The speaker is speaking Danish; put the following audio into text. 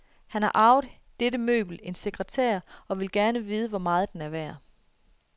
Han har arvet dette møbel, en sekretær, og vil gerne vide hvor meget den er værd.